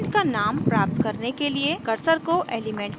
element का name प्राप्त करने के लिए cursor को element पर रखें